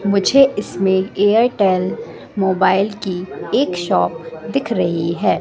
मुझे इसमें एयरटेल मोबाइल की एक शॉप दिख रही है।